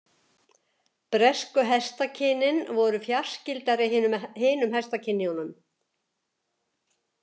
Bresku hestakynin voru fjarskyldari hinum hestakynjunum.